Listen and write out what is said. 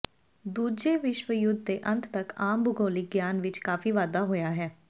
ਦੂਜੇ ਵਿਸ਼ਵ ਯੁੱਧ ਦੇ ਅੰਤ ਤੱਕ ਆਮ ਭੂਗੋਲਿਕ ਗਿਆਨ ਵਿੱਚ ਕਾਫ਼ੀ ਵਾਧਾ ਹੋਇਆ ਹੈ